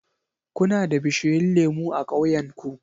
Kuna da bishiyun lemu a ƙauyenku?